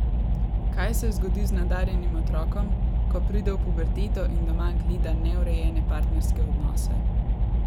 Kaj se zgodi z nadarjenim otrokom, ko pride v puberteto in doma gleda neurejene partnerske odnose?